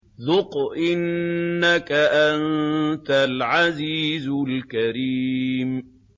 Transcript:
ذُقْ إِنَّكَ أَنتَ الْعَزِيزُ الْكَرِيمُ